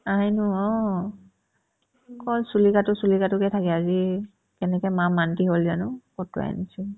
আইনো অ অকল চুলি কাটো চুলি কাটোকে থাকে আজি কেনেকে মা মান্তি হ'ল জানো কটোৱাই আনিছে